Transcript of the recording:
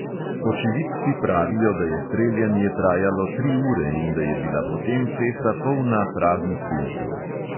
Očividci pravijo, da je streljanje trajalo tri ure in da je bila potem cesta polna praznih tulcev.